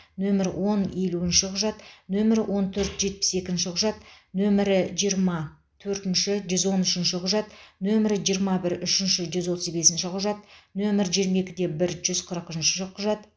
нөмірі он елуінші құжат нөмірі он төрт жетпіс екінші құжат нөмірі жиырма төртінші жүз он үшінші құжат нөмірі жиырма бір үшінші жүз отыз бесінші құжат нөмірі жиырма екі бір жүз қырығыншы құжат